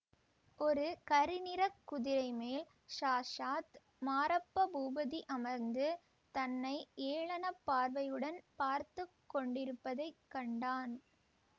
ஒரு கருநிறக் குதிரைமேல் சாக்ஷாத் மாரப்ப பூபதி அமர்ந்து தன்னை ஏளன பார்வையுடன் பார்த்து கொண்டிருப்பதை கண்டான்